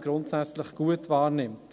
grundsätzlich gut wahrnimmt.